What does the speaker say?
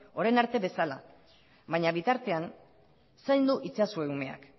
orain arte bezala baina bitartean zaindu itzazue umeak